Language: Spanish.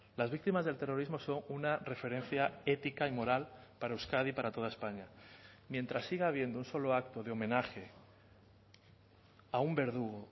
las víctimas del terrorismo son una referencia ética y moral para euskadi y para toda españa mientras siga habiendo un solo acto de homenaje a un verdugo